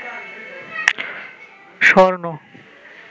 স্বর্ণ